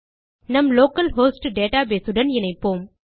நம் local host database உடன் இணைப்போம்